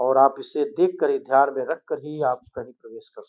और आप उसे देख कर ही ध्यान में रख कर ही आप कहीं प्रवेश कर सकते हैं।